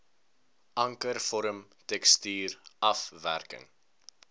ankervorm tekstuur afwerking